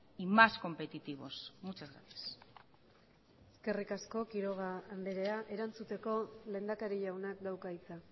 y más competitivos muchas gracias eskerrik asko quiroga andrea erantzuteko lehendakari jaunak dauka hitza